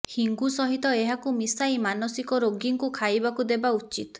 ହିଙ୍ଗୁ ସହିତ ଏହାକୁ ମିଶାଇ ମାନସିକ ରୋଗୀଙ୍କୁ ଖାଇବାକୁ ଦେବା ଉଚିତ